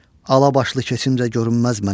Alabaşlı keçimdə görünməz mənə.